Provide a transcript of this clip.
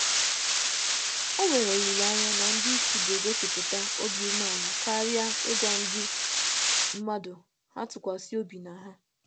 Ọ nwere olile anya na ndị isi ga-egosì isi àlà kama kama ịrị arị ka um e tụkwasị ha um obi kpamkpam.